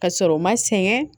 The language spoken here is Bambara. Ka sɔrɔ u ma sɛgɛn